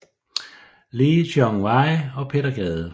Lee Chong Wei og Peter Gade